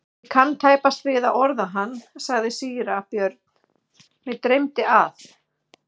Ég kann tæpast við að orða hann, sagði síra Björn,-mig dreymdi að.